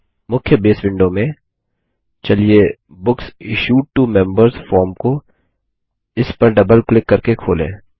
मुख्य base window में चलिए books issued to members form को इस पर डबल क्लिक करके खोलें